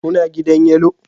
Kuna gidan Yellow